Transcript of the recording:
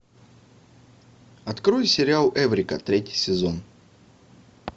открой сериал эврика третий сезон